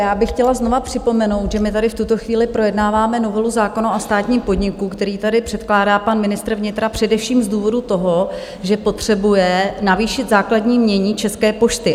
Já bych chtěla znovu připomenout, že my tady v tuto chvíli projednáváme novelu zákona o státním podniku, kterou tady předkládá pan ministr vnitra především z důvodu toho, že potřebuje navýšit základní jmění České pošty.